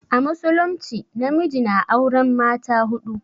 A musulumci namiji na auren mata huɗu.